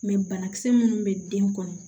banakisɛ minnu bɛ den kɔnɔ